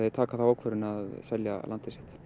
taka þá ákvörðun að selja landið sitt